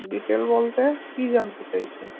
Detail বলতে কি জানতে চাইছেন?